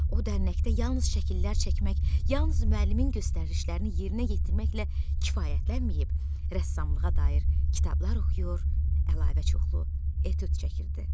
O dərnəkdə yalnız şəkillər çəkmək, yalnız müəllimin göstərişlərini yerinə yetirməklə kifayətlənməyib, rəssamlığa dair kitablar oxuyur, əlavə çoxlu etüd çəkirdi.